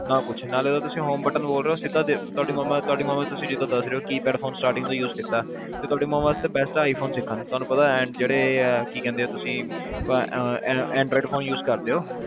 ਨਾ ਕੁੱਛ ਨਾਲੇ ਓ ਤੁਸੀ home button ਤੁਹਾਡੇ ਮਮਾਂ ਤੁਸੀ ਜਿਦਾ ਦੱਸ ਰਹੇ ਹੋ keypad phone starting ਤੋ use ਕੀਤਾ ਤੁਹਾਡੀ ਮਮਾਂ ਵਾਸਤੇ best ਸਿੱਖਣ ਤੁਹਾਨੂੰ ਪਤਾ ਜਿਹੜੇ ਆਹ ਕੀ ਕਹਿੰਦੇ ਤੁਸੀ android phone use ਕਰਦੇਓ